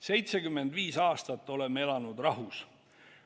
75 aastat oleme elanud rahus.